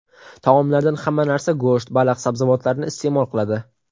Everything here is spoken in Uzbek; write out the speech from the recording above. Taomlardan hamma narsa go‘sht, baliq, sabzavotlarni iste’mol qiladi.